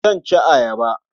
Zan ci ayaba.